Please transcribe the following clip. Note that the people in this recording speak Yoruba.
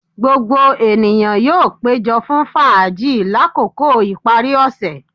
Gbogbo eniyan yoo pejo fun faaji lakoko ipari ose